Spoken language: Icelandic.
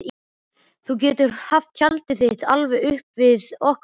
Þú getur haft tjaldið þitt alveg upp við okkar tjald.